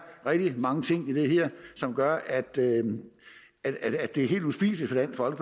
rigtig mange ting i det her som gør at det er helt uspiseligt for